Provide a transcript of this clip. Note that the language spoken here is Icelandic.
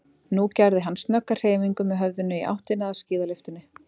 Nú gerði hann snögga hreyfingu með höfðinu í áttina að skíðalyftunni.